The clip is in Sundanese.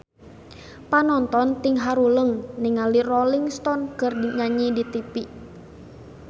Panonton ting haruleng ningali Rolling Stone keur nyanyi di tipi